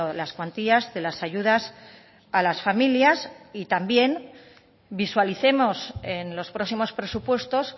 las cuantías de las ayudas a las familias y también visualicemos en los próximos presupuestos